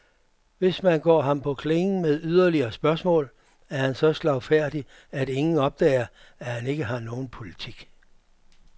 Hvis man går ham på klingen med yderligere spørgsmål, er han så slagfærdig, at ingen opdager, at han ikke har nogen politik.